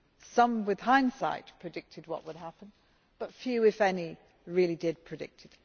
Some, with hindsight, predicted' what would happen but few, if any, really did predict it.